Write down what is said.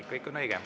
Ei, kõik on õige.